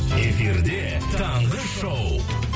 эфирде таңғы шоу